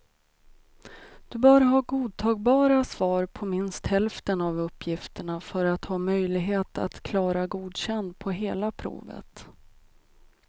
Du bör ha godtagbara svar på minst hälften av uppgifterna för att ha möjlighet att klara godkänd på hela provet.